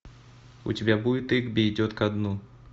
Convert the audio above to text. у тебя будет игби идет ко дну